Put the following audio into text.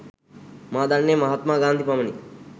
මා දන්නේ මහත්මා ගාන්ධි පමණි.